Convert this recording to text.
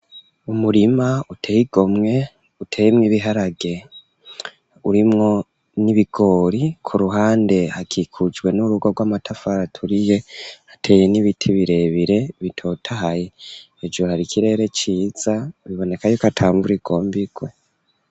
Umurima, uteye igomwe, uteyemwo ibiharage, urimwo n'ibigori; ku ruhande, hakikujwe n'urugo, rw'amatafari aturiye; hateye n'ibiti, birebire, bitotahaye; hejuru, hari ikirere ciza, biboneka y’uko, ata mvura igomba igwe.